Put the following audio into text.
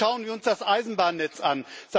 Schauen wir uns das Eisenbahnnetz an.